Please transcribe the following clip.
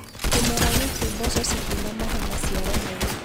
Kĩmera gĩkĩ mboco citinamahe maciaro meega